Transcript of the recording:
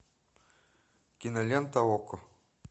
кинолента окко